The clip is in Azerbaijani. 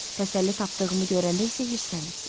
Təsəlli tapdığımı görəndə isə hirslənirsiz.